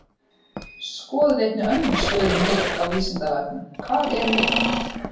Skoðið einnig önnur svör um lykt á Vísindavefnum: Hvað er lykt?